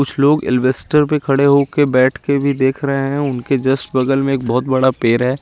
कुछ लोग पे खड़े होक बैठ के भी देख रहे है उनके जस्ट बगल में एक बहुत बड़ा पेड़ है।